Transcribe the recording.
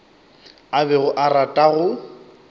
a bego a rata go